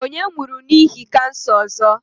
Onye nwuru n'ihi kansa ozo?